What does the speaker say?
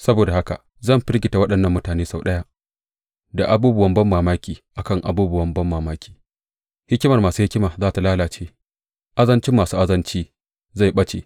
Saboda haka zan firgita waɗannan mutane sau ɗaya da abubuwan banmamaki a kan abubuwan banmamaki; hikimar masu hikima za tă lalace, azancin masu azanci zai ɓace.